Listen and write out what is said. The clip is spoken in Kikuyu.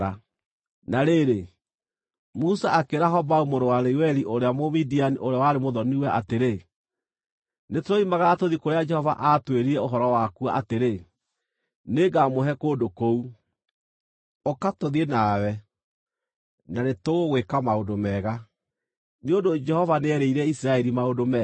Na rĩrĩ, Musa akĩĩra Hobabu mũrũ wa Reueli ũrĩa Mũmidiani ũrĩa warĩ mũthoni-we atĩrĩ, “Nĩtũroimagara tũthiĩ kũrĩa Jehova aatwĩrire ũhoro wakuo atĩrĩ, ‘Nĩngamũhe kũndũ kũu.’ Ũka tũthiĩ nawe, na nĩtũgũgwĩka maũndũ mega, nĩ ũndũ Jehova nĩerĩire Isiraeli maũndũ mega.”